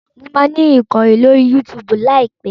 Mo máa ni ìkànnì lórí Yúutùùbù láìpẹ́.